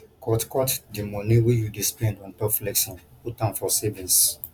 cut cut di money wey you dey spend on top flexing put am for savings